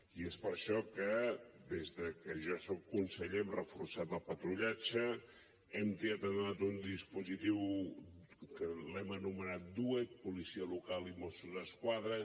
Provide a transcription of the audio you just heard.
i és per això que des de que jo soc conseller hem reforçat el patrullatge hem tirat endavant un dispositiu que l’hem anomenat duet policia local i mossos d’esquadra